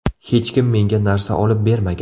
Hech kim menga narsa olib bermagan.